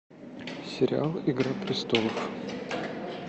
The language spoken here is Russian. сериал игра престолов